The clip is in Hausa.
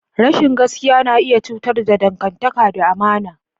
Rashin gaskiya na iya cutar da dangantaka da amana.